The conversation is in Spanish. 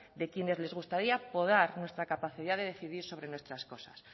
de quienes les gustaría podar nuestra capacidad de decidir sobre nuestras cosas